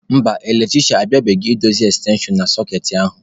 Mba, eletrisha abịabeghị idozi ekstenshon na sọkeetị ahụ.